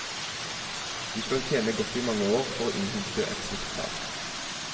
Du skal tjene godt i mange år for å innhente et slikt tap.